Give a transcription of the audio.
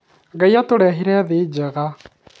Ngaĩ atũheire thĩ njega